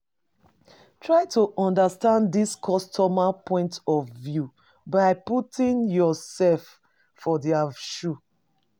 Try to understand di customer point of view by putting yourself for their shoe